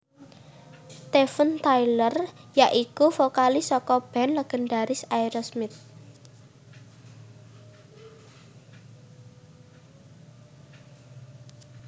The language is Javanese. Steven Tyler ya iku vokalis saka band légendharis Aerosmith